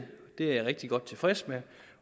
det er jeg rigtig godt tilfreds med